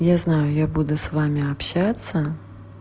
я знаю я буду с вами общаться